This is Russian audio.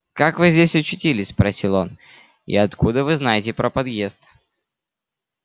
как вы здесь очутились спросил он и откуда вы знаете про подъезд